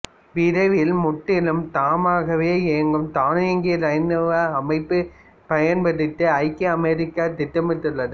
விரைவில் முற்றிலும் தாமாகவே இயங்கும் தானியங்கி இராணுவ அமைப்பை பயன்படுத்த ஐக்கிய அமெரிக்கா திட்டமிட்டுள்ளது